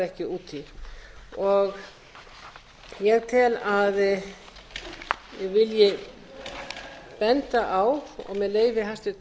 ekki út í ég tel að ég vilji benda á og með leyfi hæstvirts